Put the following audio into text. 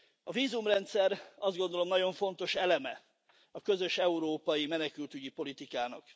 A vízumrendszer azt gondolom, nagyon fontos eleme a közös európai menekültügyi politikának.